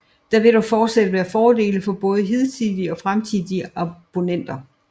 Der vil dog fortsat være fordele for både hidtidige og fremtidige abonnenter